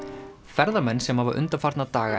ferðamenn sem hafa undanfarna daga